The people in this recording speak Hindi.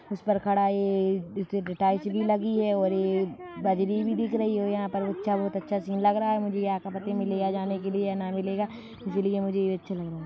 इस पर खड़ा ये भी लगी है और ये बजरी भी दिख रही है और यहाँ पर अच्छा बोहोत अच्छा सीन लग रहा है मुझे ना मिलेगा इसलिए मुझे ये अच्छा लग रहा --